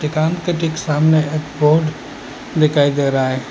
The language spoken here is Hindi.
दुकान के ठीक सामने एक बोर्ड दिखाई दे रहा है।